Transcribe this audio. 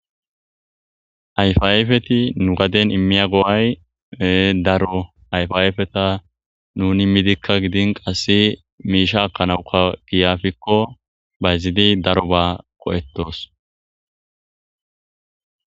ayfa ayifeti nu gaden immiya go7ay daro ayfayifeta nun immidikka gidin qasse miisha akkanawuka giyafikko bayzidi daro ba qo7ettos